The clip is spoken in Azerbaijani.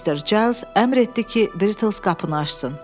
Mister Cales əmr etdi ki, Brittles qapını açsın.